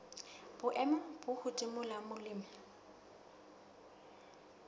boemo bo hodimo la molemi